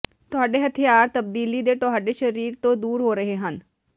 ਤੁਹਾਡੇ ਹਥਿਆਰ ਤਬਦੀਲੀ ਦੇ ਤੁਹਾਡੇ ਸਰੀਰ ਤੋਂ ਦੂਰ ਹੋ ਰਹੇ ਹਨ